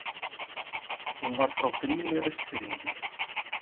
Hún var frá Grími Austfirðingi.